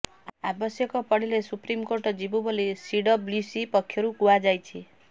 ଆବଶ୍ୟକ ପଡ଼ିଲେ ସୁପ୍ରିମକୋର୍ଟ ଯିବୁ ବୋଲି ସିଡବ୍ଲ୍ୟୁସି ପକ୍ଷରୁ କୁହାଯାଇଛି